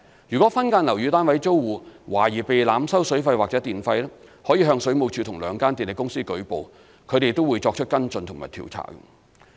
如果分間樓宇單位租戶懷疑被濫收水費或電費，他們可向水務署或兩間電力公司舉報，從而作出跟進和調查。